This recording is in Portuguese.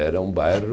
Era um bairro